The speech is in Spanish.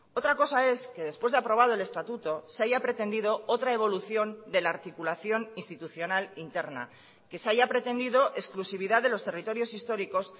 otra cosa es que después de aprobado el estatuto se haya pretendido otra evolución de la articulación institucional interna que se haya pretendido exclusividad de los territorios históricos